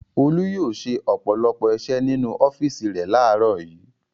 Olú yóò ṣe ọ̀pọ̀lọpọ̀ iṣẹ́ nínú ọ́fíísì rẹ̀ láàárọ̀ yìí.